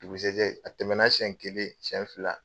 Dugusajɛ, a tɛmɛna sɛn kelen, sɛn fila